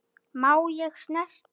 Má ég snerta?